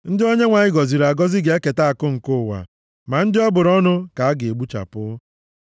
Ndị Onyenwe anyị gọziri agọzi ga-eketa akụ nke ụwa, ma ndị ọ bụrụ ọnụ ka a ga-egbuchapụ.